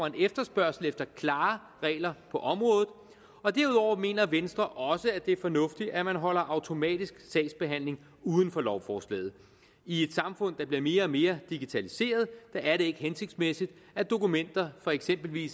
en efterspørgsel efter klare regler på området og derudover mener venstre også at det er fornuftigt at man holder automatisk sagsbehandling uden for lovforslaget i et samfund der bliver mere og mere digitaliseret er det ikke hensigtsmæssigt at dokumenter for eksempel i